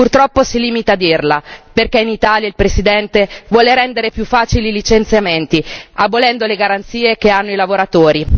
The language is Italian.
Purtroppo si limita a dirla, perché in Italia il Presidente vuole rendere più facile i licenziamenti, abolendo le garanzie che hanno i lavoratori.